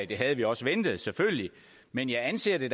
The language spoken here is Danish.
det havde vi også ventet selvfølgelig men jeg anser det